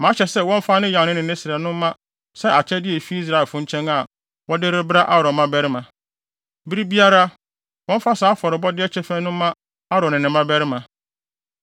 Mahyɛ sɛ wɔmfa ne yan no ne ne srɛ no mma sɛ akyɛde a efi Israelfo nkyɛn a wɔde rebrɛ Aaron mmabarima. Bere biara, wɔmfa saa afɔrebɔde no kyɛfa yi no mma Aaron ne ne mmabarima.”